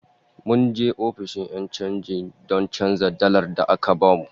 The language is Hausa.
Mun je ofishin 'yan chanji don canza dalar da aka bamu